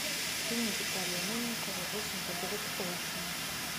фильм виталия мельникова восемь подруг оушена